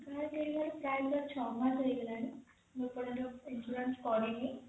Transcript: ପ୍ରାଏ ମୋର ଛ ମାସ ହେଇଗଲାଣି ମୁଁ ଏ ପର୍ଜନ୍ତ insurance କରିନି